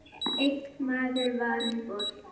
Einn maður var um borð.